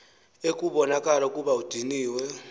ekubonakala ukuba udiniwe